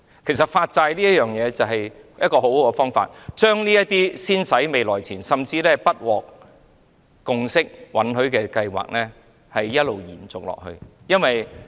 其實，發債對當局來說是一個很好的方法，可以先使未來錢，甚至將不獲共識或允許的計劃一直延續下去。